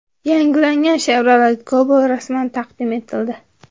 Yangilangan Chevrolet Cobalt rasman taqdim etildi .